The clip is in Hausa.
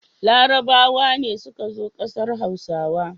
Larabawa ne suka zo ƙasar Hausa.